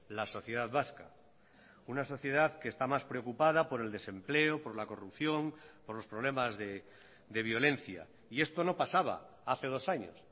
la sociedad vasca una sociedad que está más preocupada por el desempleo por la corrupción por los problemas de violencia y esto no pasaba hace dos años